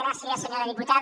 gràcies senyora diputada